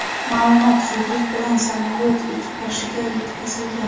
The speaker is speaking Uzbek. ma’lumot zudlik bilan samolyot ekipajiga yetkazilgan.